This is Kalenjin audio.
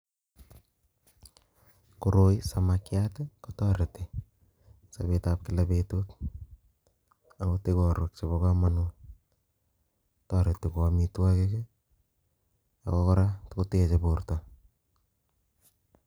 Koroi samakchat kotoroti sapet ab kila betut angot ikorwek chebo kamanut toroti kou amitwakiik ako kora koteche borto